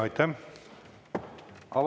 Aitäh!